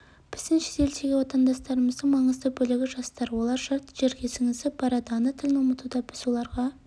біздің шетелдегі отандастырымыздың маңызды бөлігі жастар олар жат жерге сіңісіп барады ана тілін ұмытуда біз оларға